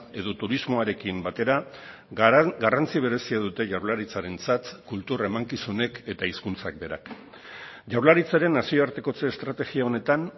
edo turismoarekin batera garrantzi berezia dute jaurlaritzarentzat kultur emankizunek eta hizkuntzak berak jaurlaritzaren nazioartekotze estrategia honetan